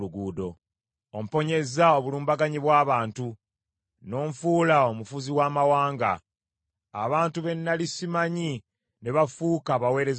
Omponyezza obulumbaganyi bw’abantu; n’onfuula omufuzi w’amawanga. Abantu be nnali simanyi ne bafuuka abaweereza bange.